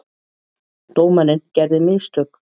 Dómarinn gerði mistök.